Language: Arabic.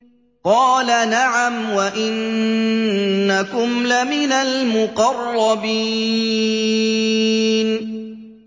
قَالَ نَعَمْ وَإِنَّكُمْ لَمِنَ الْمُقَرَّبِينَ